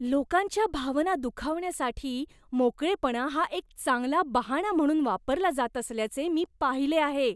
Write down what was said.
लोकांच्या भावना दुखावण्यासाठी मोकळेपणा हा एक चांगला बहाणा म्हणून वापरला जात असल्याचे मी पाहिले आहे